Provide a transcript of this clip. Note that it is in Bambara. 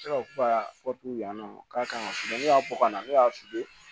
Ne ka yan nɔ k'a ka ne y'a bɔ ka na ne y'a